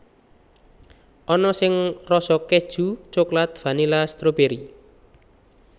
Ana sing rasa kèju coklat vanila stroberi